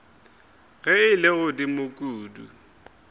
ge e le godimo kudu